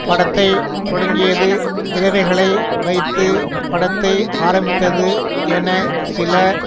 படத்தை தொடங்கியது விதவைகளை வைத்து படத்தை ஆரம்பித்தது என சில